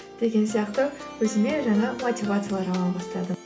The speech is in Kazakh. деген сияқты өзіме жаңа мотивациялар ала бастадым